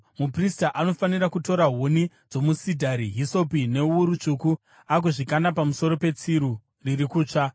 Muprista anofanira kutora huni dzomusidhari, hisopi newuru tsvuku agozvikanda pamusoro petsiru riri kutsva.